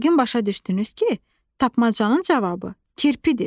Yəqin başa düşdünüz ki, tapmacanın cavabı kirpidir.